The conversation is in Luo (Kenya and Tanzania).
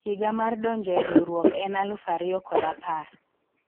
higa mar donjo e riwruok en alufu ariyo kod apar